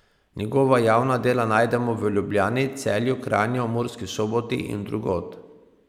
Njegova javna dela najdemo v Ljubljani, Celju, Kranju, Murski Soboti in drugod.